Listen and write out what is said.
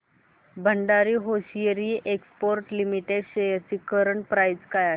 Bhandari hosiery exports limited shares ची current price काय आहे